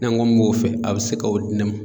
N'an kɔ n m'o fɛ a bɛ se k'o di ne ma.